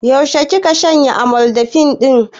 Yaushe kika shanye amlodipine ɗin?